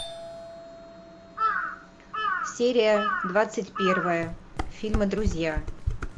серия двадцать первая фильма друзья